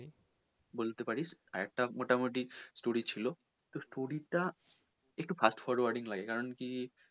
বলতে পারিস আরেকটা মোটামটি story ছিল তো story টা একটু fast forwarding লাগে কারন কি